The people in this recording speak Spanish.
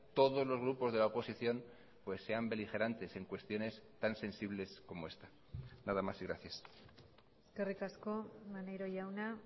todos los grupos de la oposición pues sean beligerantes en cuestiones tan sensibles como esta nada más y gracias eskerrik asko maneiro jauna